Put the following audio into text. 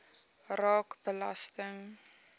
raak belasting